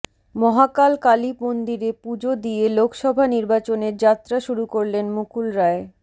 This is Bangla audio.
মহাকাল কালী মন্দিরে পুজো দিয়ে লোকসভা নির্বাচনের যাত্রা শুরু করলেন মুকুল রায়